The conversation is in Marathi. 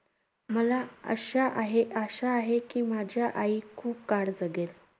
मला अशा आहे~ आशा आहे की, माझ्या आई खूप काळ जगेल.